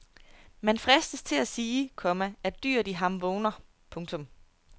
Man fristes til at sige, komma at dyret i ham vågner. punktum